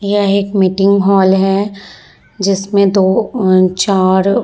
यह एक meeting hall है जिसमें दो अ चार --